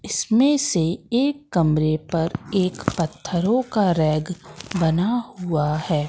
इसमें से एक कमरे पर एक पत्थरों का रैक बना हुआ है।